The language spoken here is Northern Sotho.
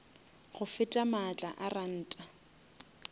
go feta maatla a ranta